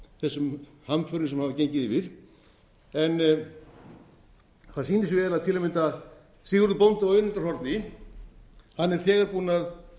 þessum hamförum sem hafa gengið yfir en það sýnir sig vel að til að mynda sigurður bóndi á önundarhorni er þegar búinn að